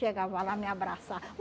Chegava lá, me abraçava.